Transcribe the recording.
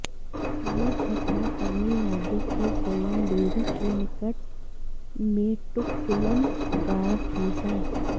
यह घटना तमिलनाडु के कोयंबेडु के निकट मेट्टुकुलम गांव की है